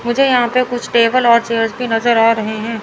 मुझे यहां पे कुछ टेबल और चेयर्स भी नजर आ रहे हैं।